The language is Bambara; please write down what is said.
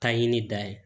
Ka ɲini da ye